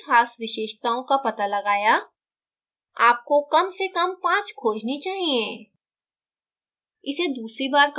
आपने कितनी ख़ास विशेषताओं का पता लगाया आपको कम से कम पाँच खोजनी चाहिए